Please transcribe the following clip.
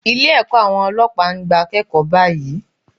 Ilé ẹ̀kọ́ àwọn Ọlọ́pàá ń gba akẹ́kọ̀ọ́ báyìí.